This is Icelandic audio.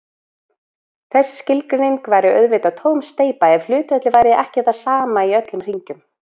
Þessi skilgreining væri auðvitað tóm steypa ef hlutfallið væri ekki það sama í öllum hringjum.